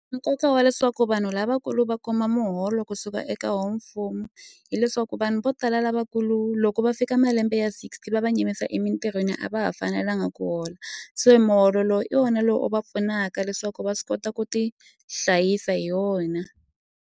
Nkoka wa leswaku vanhu lavakulu va kuma muholo kusuka eka woho mfumo hileswaku vanhu vo tala lavakulu loko va fika malembe ya sixty va va yimisa emitirhweni a va ha fanelanga ku hola so muholo lowu i wona loko va pfunaka leswaku va swi kota ku tihlayisa hi wona.